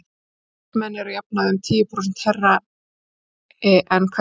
karlmenn eru að jafnaði um tíu prósent hærri en kvenmenn